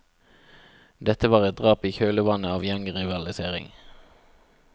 Dette var et drap i kjølvannet av gjengrivalisering.